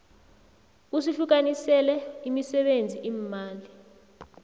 usihlukanisele imisebenzi imali